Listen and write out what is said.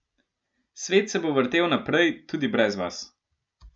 Svet se bo vrtel naprej tudi brez vas.